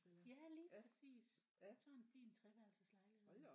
Ja lige præcis sådan en fin treværelses lejlighed